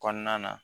Kɔnɔna na